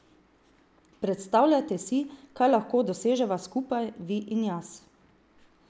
Predstavljajte si, kaj lahko doseževa skupaj, vi in jaz.